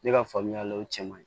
Ne ka faamuyali la o cɛ man ɲi